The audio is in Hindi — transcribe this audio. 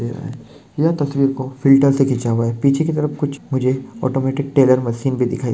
येह यह तस्वीर को फ़िल्टर से खीचा हुआ है पीछे की तरफ कुछ मुझे ऑटोमैटिक टेलर मशीन भी दिखाई--